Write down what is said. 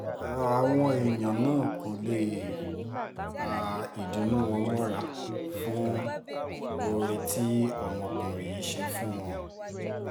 àwọn èèyàn náà kò lè pa ìdùnnú wọn mọ́ra fún oore tí ọmọkùnrin yìí ṣe fún wọn